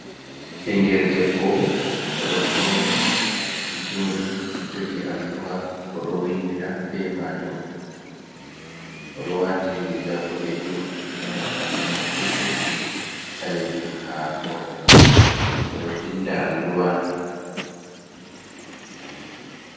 Ɓingel debbo o ɗo fauni jooɗii, jogi alluwa o ɗo windira be maajum, o ɗo waati riga boɗeejum, e nanta himar petel ɓaleejum, haa hoore maako, o ɗo vinda alluwa.